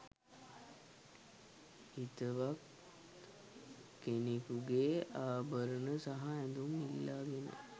හිතවත් කෙනකුගේ ආභරණ සහ ඇඳුම් ඉල්ලාගෙන